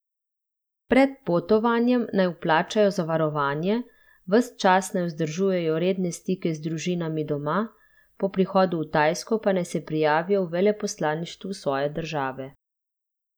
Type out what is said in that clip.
Pred potovanjem naj vplačajo zavarovanje, ves čas naj vzdržujejo redne stike z družinami doma, po prihodu v Tajsko pa naj se prijavijo v veleposlaništvu svoje države.